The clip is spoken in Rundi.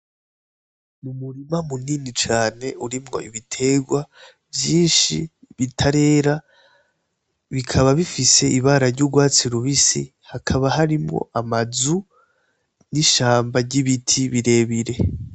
Umurima munini cane urimwo ibitegwa vyinshi bitarera bikaba bifise ibara ry'ugwatsi rubisi hakaba harimwo amazu n' ishamba ry' ibiti birebire.